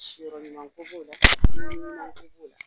Siyɔrɔ ɲuman ko b'o la dumuni ɲuman ko b'o la.